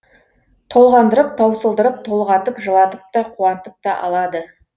толғандырып таусылдырып толғатып жылатып та қуантып та алады